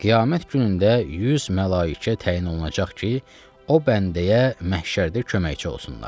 Qiyamət günündə 100 mələikə təyin olunacaq ki, o bəndəyə məhşərdə köməkçi olsunlar.